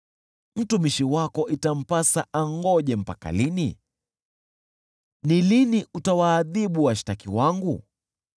Mtumishi wako itampasa angoje mpaka lini? Ni lini utawaadhibu washtaki wangu?